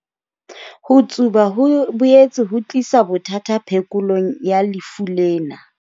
Ho tsuba ho boetse ho tlisa bothata phekolong ya lefu lena.